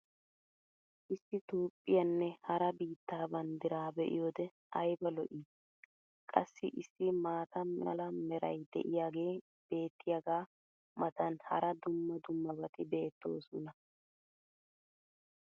Issi Toophphpiyaanne hara biittaa banddiraa be'iyoode ayba lo'ii! Qassi issi maata mala meray diyaagee beetiyaagaa matan hara dumma dummabati beettoosona.